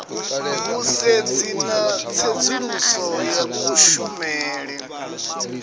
vhusedzi na tsedzuluso ya kushumele